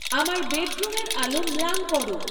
আমার বেডরুমের আলো ম্লান করো